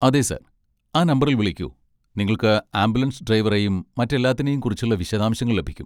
അതെ, സർ, ആ നമ്പറിൽ വിളിക്കൂ, നിങ്ങൾക്ക് ആംബുലൻസ് ഡ്രൈവറെയും മറ്റെല്ലാത്തിനേയും കുറിച്ചുള്ള വിശദാംശങ്ങൾ ലഭിക്കും.